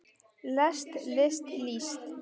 lest list líst